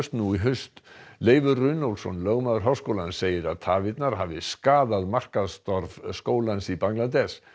nú í haust Leifur Runólfsson lögmaður háskólans segir að tafirnar hafi skaðað markaðsstarf skólans í Bangladess